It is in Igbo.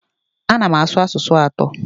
Ana m asụ asụsụ atọ.